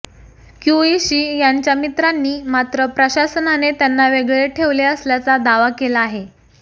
क्यूइशी यांच्या मित्रांनी मात्र प्रशासनाने त्यांना वेगळे ठेवले असल्याचा दावा केला आहे